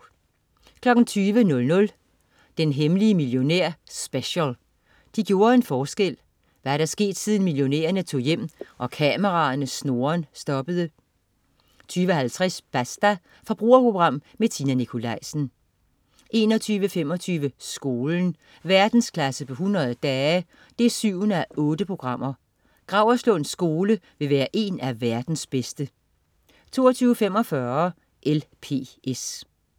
20.00 Den hemmelige millionær Special. De gjorde en forskel. Hvad er der sket siden millionærerne tog hjem, og kameraernes snurren stoppede? 20.50 Basta. Forbrugerprogram med Tina Nikolaisen 21.25 Skolen. Verdensklasse på 100 dage 7:8. Gauerslund Skole vil være en af verdens bedste 22.45 LPS